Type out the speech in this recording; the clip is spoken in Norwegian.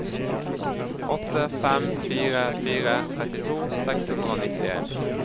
åtte fem fire fire trettito seks hundre og nittien